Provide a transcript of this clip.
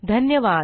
धन्यवाद160